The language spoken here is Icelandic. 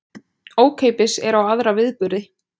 Ókeypis er á aðra viðburði